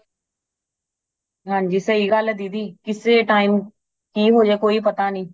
ਹਾਂਜੀ ਸਹੀ ਗੱਲ ਏ ਦੀਦੀ ਕਿਸੇ time ਕੀ ਹੋਜਾਏ ਕੋਈ ਪਤਾ ਨਹੀਂ